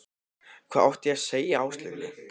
Hvað átti ég að segja Áslaugu?